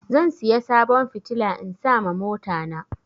Zan siya sabon fitila in sa ma mota na